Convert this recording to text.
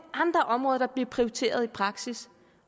andre områder der bliver prioriteret i praksis